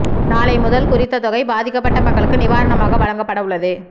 நாளை முதல் குறித்த தொகை பாதிக்கப்பட்ட மக்களுக்கு நிவாரணமாக வழங்கப்படவுள்ளது